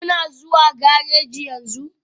Kuna zuwa gareji yanzu?